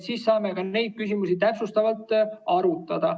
Siis saame ka neid küsimusi täpsustavalt arutada.